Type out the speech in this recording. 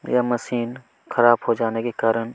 यह मशीन खराब हो जाने के कारन--